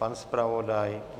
Pan zpravodaj?